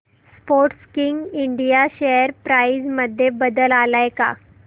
Sportking India share price मध्ये बदल आलाय का